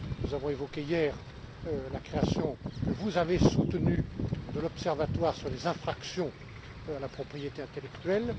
Nous avons évoqué hier la création que vous avez soutenue de l'observatoire sur les infractions à la propriété intellectuelle